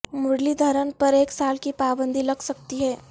مرلی دھرن پر ایک سال کی پابندی لگ سکتی ہے